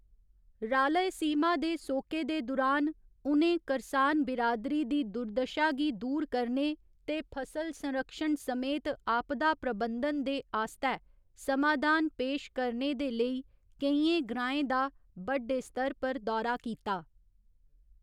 रालयसीमा दे सोके दे दुरान, उ'नें करसान बिरादरी दी दुर्दशा गी दूर करने ते फसल संरक्षण समेत आपदा प्रबंधन दे आस्तै समाधान पेश करने दे लेई केइयें ग्राएं दा बड्डे स्तर पर दौरा कीता।